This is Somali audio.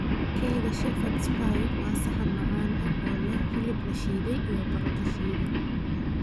Keega Shepherd's pie waa saxan macaan oo leh hilib la shiiday iyo baradho shiidan.